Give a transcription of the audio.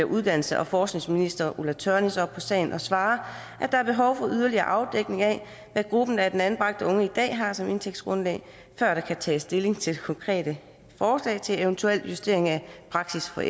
uddannelses og forskningsminister ulla tørnæs følger op på sagen og svarer at der er behov for yderligere afdækning af hvad gruppen af anbragte unge i dag har som indtægtsgrundlag før der kan tages stilling til det konkrete forslag til en eventuel justering af praksis for